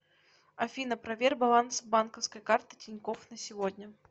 афина проверь баланс банковской карты тинькофф на сегодня